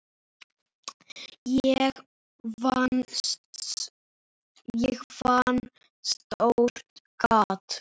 Ég fann stórt gat.